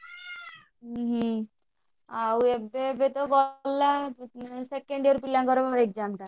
ଉଁ ହୁଁ ଆଉ ଏବେ ଏବେ ତ ଗଲା second year ପିଲାଙ୍କର exam ଟା।